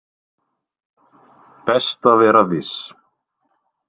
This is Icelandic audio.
Best að vera viss